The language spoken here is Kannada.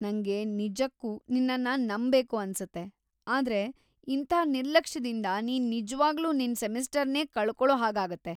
ನಂಗೆ ನಿಜಕ್ಕೂ ನಿನ್ನನ್ನ ನಂಬ್‌ಬೇಕು ಅನ್ಸುತ್ತೆ, ಆದ್ರೆ ಇಂಥ ನಿರ್ಲಕ್ಷ್ಯದಿಂದ ನೀನು ನಿಜ್ವಾಗ್ಲೂ ನಿನ್ ಸೆಮಿಸ್ಟರ್‌ನೇ ಕಳ್ಕೊಳೋ ಹಾಗಾಗತ್ತೆ.